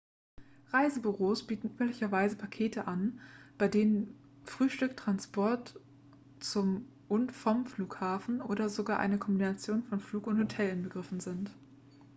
reisebüros bieten üblicherweise pakete an bei denen frühstück transport zum und vom flughafen oder sogar eine kombination von flug und hotel inbegriffen sind